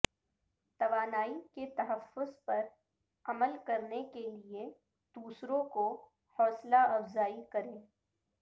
توانائی کے تحفظ پر عمل کرنے کے لئے دوسروں کو حوصلہ افزائی کریں